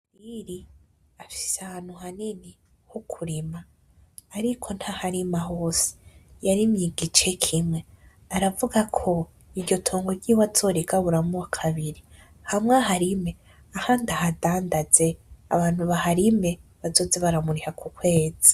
Buhire afise ahantu hanini ho kurima, ariko ntaharima hose, yarimye igice kimwe, aravuga ko iryo tongo ryiwe azorigaburamwo kabiri, hamwe aharime, ahandi ahadandanze abantu baharime bazoze baramuriha ku kwezi.